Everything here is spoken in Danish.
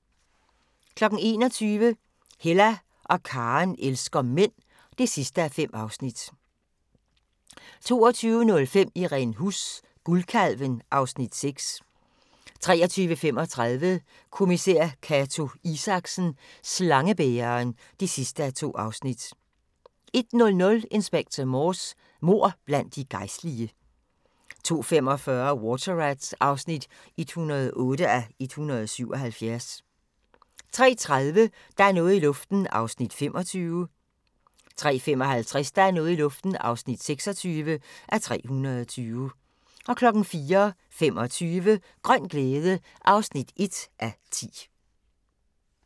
21:00: Hella og Karen elsker mænd (5:5) 22:05: Irene Huss: Guldkalven (Afs. 6) 23:35: Kommissær Cato Isaksen: Slangebæreren (2:2) 01:00: Inspector Morse: Mord blandt de gejstlige 02:45: Water Rats (108:177) 03:30: Der er noget i luften (25:320) 03:55: Der er noget i luften (26:320) 04:25: Grøn glæde (1:10)